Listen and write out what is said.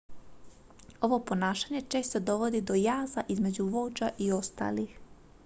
ovo ponašanje često dovodi do jaza između vođa i ostalih